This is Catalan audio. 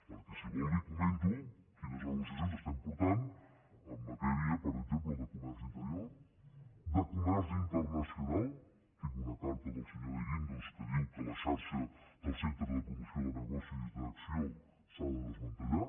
perquè si vol li comento quines negociacions estem portant en matèria per exemple de comerç interior de comerç internacional tinc una carta del senyor de guindos que diu que la xarxa del centre de promoció de nego·cis d’acc1ó s’ha de desmantellar